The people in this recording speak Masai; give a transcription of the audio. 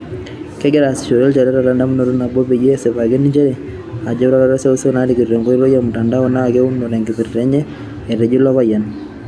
"Kigira aasishore ilchoreta lendamunoto nabo, peyia kisipaki njere ore utarot e seuseu naariko enkoitoi e mutandao naa keuno tenkipirta enye," Etejo ilo payian.